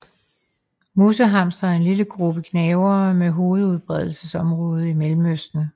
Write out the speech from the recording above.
Musehamstere er en lille gruppe gnavere med hovedudbredelsesområde i Mellemøsten